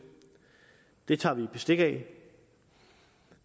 det tager vi bestik af